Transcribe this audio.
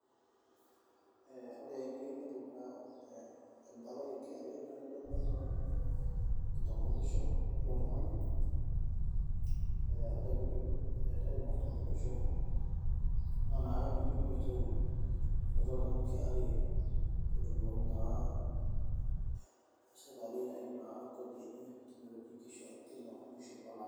Ee ore teniyieu niimput ina palai e KRA naa idumu naa enkitambulisho ilo tung'ani ee ore piidip aitayu iina kitambulisho naa inakata naa itumoki aitayu aitaki oltung'ani KRA pee etumoki naa sirkali aitayu naa kodi enye tinewueji kila musho olapa.